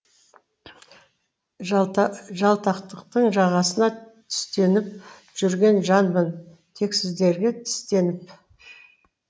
жалтақтықтың жағасына түстеніп жүрген жанмын тексіздерге тістеніп